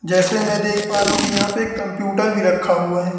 जैसे मैं देख पा रहा हूं कि यहां पे एक कंप्यूटर भी रखा हुआ है।